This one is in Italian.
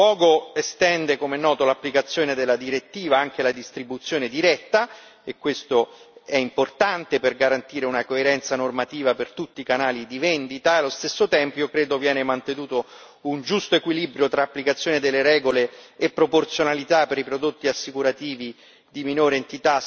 La decisione, in primo luogo estende, come è noto, l'applicazione della direttiva, anche la distribuzione diretta, e questo è importante per garantire una coerenza normativa per tutti i canali di vendita e, allo stesso tempo, credo che venga mantenuto un giusto equilibrio tra applicazione delle regole e proporzionalità per i prodotti assicurativi